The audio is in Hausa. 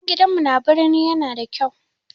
Sabon gidanmu na birni yana da kyau.